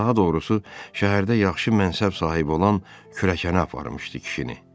Daha doğrusu, şəhərdə yaxşı mənsəb sahibi olan kürəkəni aparmışdı kişini.